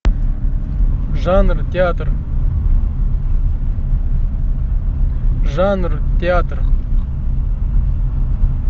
жанр театр жанр театр